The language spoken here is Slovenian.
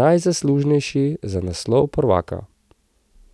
najzaslužnejši za naslov prvaka.